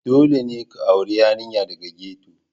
Dole ne ka auri yarinya daga ghetto,